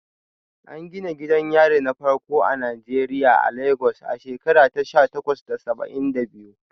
An gina gidan yari na farko a Najeriya a Legas a shekara ta sha takwas da saba'in da biyu.